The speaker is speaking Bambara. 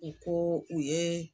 U ko u ye.